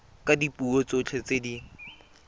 ka dipuo tsotlhe tse di